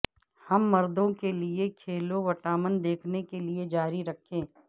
ہم مردوں کے لئے کھیلوں وٹامن دیکھنے کے لئے جاری رکھیں